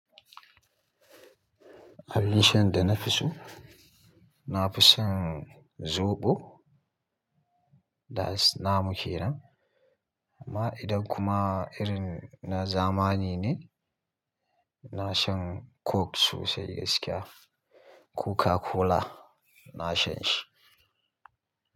Abin shan da na fi so, na fi shan zoɓo. Da is muke nan. Ma idan kuma irin na zamani ne, ina shan coke sosai gaskiya. Coca-Cola, na shan shi.